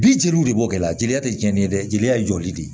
Bi jeliw de b'o kɛ la jeliya tɛ cɛnni ye dɛ jeliya ye jɔli de